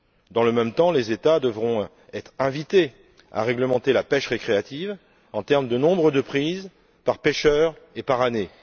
Dans le même temps, les États devront être invités à réglementer la pêche récréative quant au nombre de prises par pêcheurs et par année.